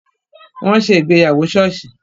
Wọn ṣe ìgbéyàwó soosi